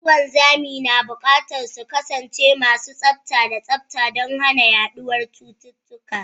Masu wanzami na buƙatar su kasance masu tsafta da tsafta don hana yaduwar cututtuka.